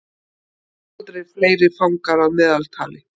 Aldrei fleiri fangar að meðaltali